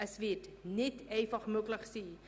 Dies wird nicht einfach möglich sein.